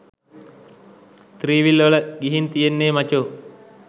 three-wheel වල ගිහින් තියෙන්නේ මචෝ